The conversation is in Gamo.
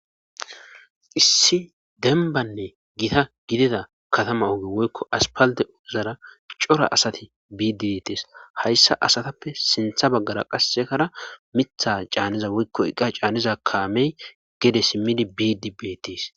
Issi denbanne gita gidida katama oge woykko aspalde ozara cora asati biidi betes hayssa asatappe sintha baggara qassekara mitha caanniza woykko eqa caanniza kaamey gede simmidi biidi betis.